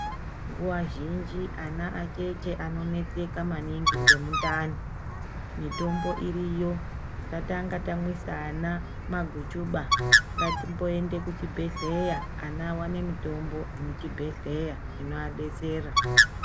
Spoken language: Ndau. Nguwa zhinji ana acheche anoneseka nemudhani mitombo iriyo tisatanga tamwisa vana maguchuba ngatimboenda kuchibhehleya vana vawane mutombo muchibhehleya inovadetsera.